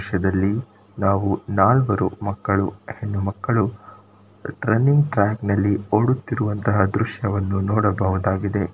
ಈ ದೃಶ್ಯದಲ್ಲಿ ನಾವು ನಾಲ್ವರು ಮಕ್ಕಳು ಹೆಣ್ಣು ಮಕ್ಕಳು ರನ್ನಿಂಗ್ ಟ್ರ್ಯಾಕ್ ನಲ್ಲಿ ಓಡುತ್ತಿರುವಂತಹ ದೃಶ್ಯವನ್ನು ನೋಡಬಹುದಾಗಿದೆ.